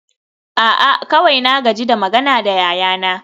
a'a kawai na gaji da magana da yayana